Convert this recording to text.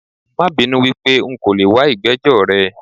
Mabinú wípé nko leè wa ìgbẹ́jọ́ rẹ